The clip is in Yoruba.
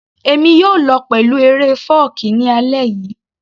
Èmi yóò lọ pẹ̀lú eré fọ́ọ̀kí ní alẹ́ yìí